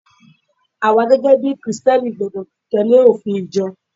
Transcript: awa gẹgẹ bí Kristẹni gbọdọ tẹle ofin ìjọ